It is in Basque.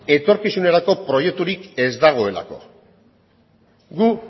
etorkizunerako proiekturik ez dagoelako gu